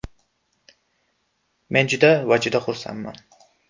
Men juda va juda xursandman.